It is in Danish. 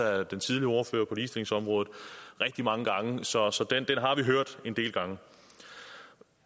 af den tidligere ordfører på ligestillingsområdet rigtig mange gange så så den har vi hørt en del gange